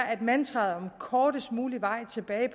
at mantraet om den kortest mulige vej tilbage